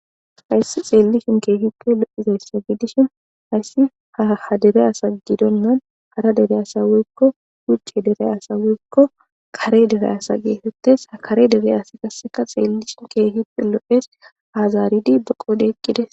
Haysa xeellishini keehipe lo'izanne haysi ha dere asan gidena hara dere asan woyko wuce dere asan woyko kare dere asa geeteyes ha kare dere asazi qaseka xeelishin keehipe lo'es ha zaaridi be qoodhe eqides